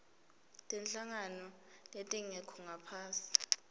tinhlangano letingekho ngaphasi